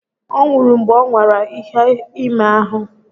Ọ nwụrụ mgbe ọ nwara iha ime ahụ